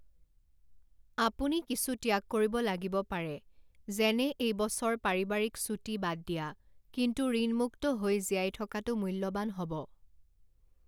আপুনি কিছু ত্যাগ কৰিব লাগিব পাৰে, যেনে এই বছৰ পাৰিবাৰিক ছুটী বাদ দিয়া, কিন্তু ঋণমুক্ত হৈ জীয়াই থকাটো মূল্যৱান হ'ব।